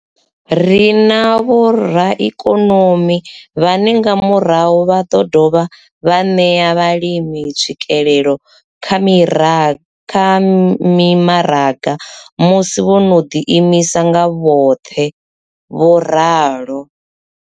Ri na vhoraikonomi vhane nga murahu vha ḓo dovha vha ṋea vhalimi tswikelelo kha mimaraga musi vho no ḓi imisa nga vhoṱhe. vho ralo.